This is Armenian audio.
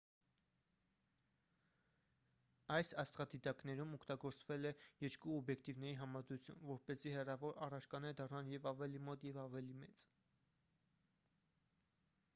այս աստղադիտակներում օգտագործվել է երկու օբյեկտիվների համադրություն որպեսզի հեռավոր առարկաները դառնան և ավելի մոտ և ավելի մեծ